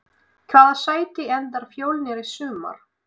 Í hvaða sæti endar Fjölnir í sumar?